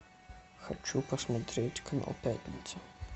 хочу посмотреть канал пятница